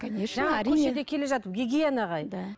конечно әрине жаңа көшеде келе жатып гигиена